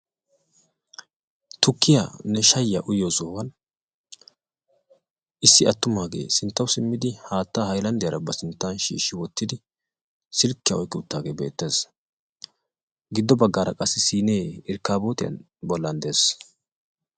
Tukkiyanne shayiyaa uyiyoo sohuwaan issi attumage sinttawu simmidi haattaa haylandiyara ba sinttan shshshiwottidi silkkiya oyqqi uttidage beettes. giddobagga qassi siinne irkabootiyan bollan de'es